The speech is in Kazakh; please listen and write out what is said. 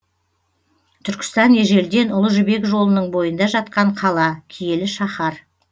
түркістан ежелден ұлы жібек жолының бойында жатқан қала киелі шаһар